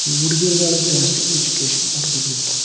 ಈ ಹುಡಗಿರುಗಳಿಗೆ ಜಾಸ್ತಿ ಎಜುಕೇಶನ್ ಹುಡುಗರುಗಿಂತ.